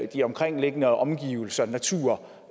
de omkringliggende omgivelser natur